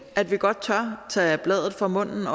at vi godt tør tage bladet fra munden